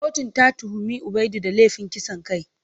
Kotun ta tuhumi Ubaidu da laifin kisan kai.